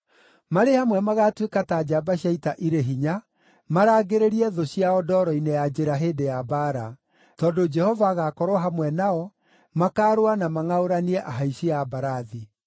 Marĩ hamwe magaatuĩka ta njamba cia ita irĩ hinya, marangĩrĩrie thũ ciao ndoro-inĩ ya njĩra hĩndĩ ya mbaara. Tondũ Jehova agaakorwo hamwe nao, makaarũa na mangʼaũranie ahaici a mbarathi.